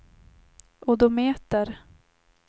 odometer